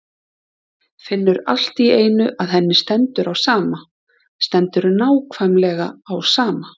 Finnur allt í einu að henni stendur á sama, stendur nákvæmlega á sama.